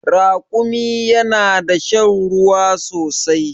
Rakumi yana da shan ruwa sosai